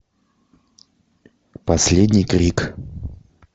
последний крик